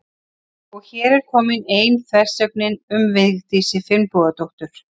Og er hér komin ein þversögnin um Vigdísi Finnbogadóttur.